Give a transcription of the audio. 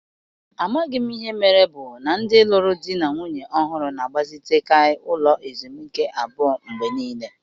Amaghị m ihe mere bụ na ndi lụrụ di na nwunye ọhụrụ na-agbazitekaị ụlọ ezumike abụọ mgbe niile.